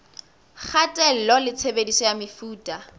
kgatello ya tshebediso ya mefuta